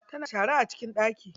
Tana shara a cikin ɗaki.